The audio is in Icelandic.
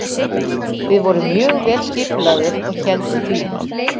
Við vorum mjög vel skipulagðir og héldum því.